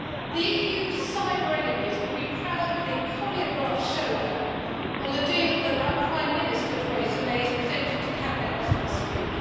the EU's cyber enemies would be proud of the choreographed showdown on the deal that our Prime Minister, Theresa May, is presenting to cabinet as we speak.